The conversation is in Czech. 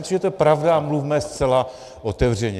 Myslím, že to je pravda, a mluvme zcela otevřeně.